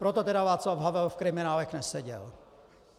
Proto tedy Václav Havel v kriminálech neseděl.